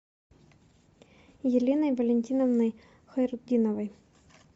еленой валентиновной хайрутдиновой